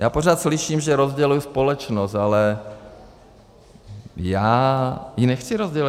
Já pořád slyším, že rozděluji společnost, ale já ji nechci rozdělovat.